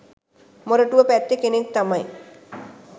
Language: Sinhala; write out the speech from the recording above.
මොරටුව පැත්තේ කෙනෙක් තමයි